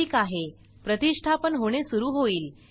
ठीक आहे प्रतिष्ठापन होणे सुरू होईल